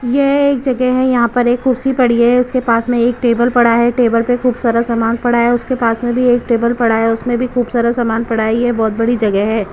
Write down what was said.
यह एक जगह है यहां पर एक खुर्सी पड़ी है उसके पास में एक टेबल पड़ा है टेबल पर खूब सारा सामान पड़ा है उसके पास में भी एक टेबल पड़ा है उसमें भी खूब सारा सामान पड़ा है यह बहुत बड़ी जगह है।